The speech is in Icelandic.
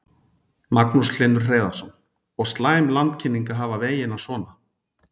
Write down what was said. Magnús Hlynur Hreiðarsson: Og slæm landkynning að hafa vegina svona?